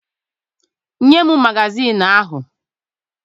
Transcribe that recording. Nye m magazịịnụ ahụ!